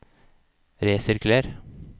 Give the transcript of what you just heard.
resirkuler